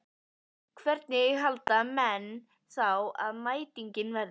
Hvernig halda menn þá að mætingin verði?